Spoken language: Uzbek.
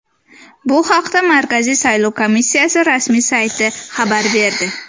Bu haqda Markaziy saylov komissiyasi rasmiy sayti xabar berdi .